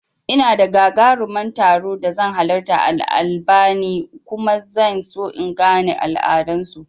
Ina da gagaruman taro da zan halarta a Albania kuma zan so in in gane al'adan su